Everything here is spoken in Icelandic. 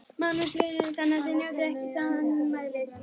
Magnús Hlynur: Þannig að þið njótið ekki sannmælis?